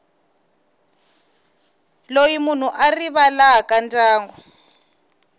loyi munhu a rivalaka ndyangu